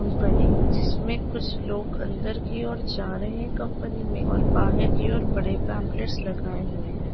जिसमे कुछ लोग अंदर की और जा रहे कंपनी मे और बाहर की और बड़े पाम्प्लेट्ट्स लगाए हुए है।